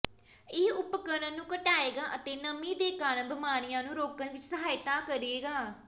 ਇਹ ਉਪਕਰਣ ਨੂੰ ਘਟਾਏਗਾ ਅਤੇ ਨਮੀ ਦੇ ਕਾਰਨ ਬਿਮਾਰੀਆਂ ਨੂੰ ਰੋਕਣ ਵਿੱਚ ਸਹਾਇਤਾ ਕਰੇਗਾ